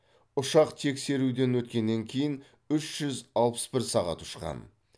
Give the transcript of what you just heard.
ұшақ тексеруден өткеннен кейін үж жүз алпыс бір сағат ұшқан